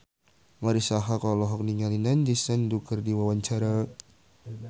Marisa Haque olohok ningali Nandish Sandhu keur diwawancara